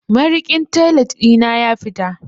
Mariƙin toilet ɗi na ya fita.